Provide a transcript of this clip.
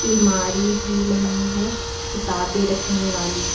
अलमारी भी बनी है किताबें रखने वाली।